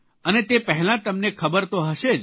અને તે પહેલાં તમને ખબર તો હશે જ